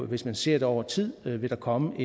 hvis man ser det over tid vil der komme